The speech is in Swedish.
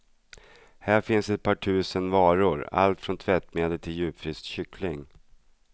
Här finns ett par tusen varor, allt från tvättmedel till djupfryst kyckling.